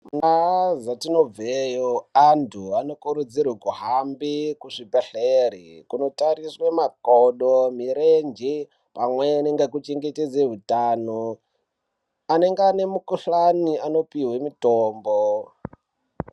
Mundaa dzetinobveyo anthu anokurudzirwe kuhamba kuzvibhedhlere kunotariswa makodo, mirenje pamweni nekuchengetedze utano anenge ane mikuhkani anopihwe mitombo.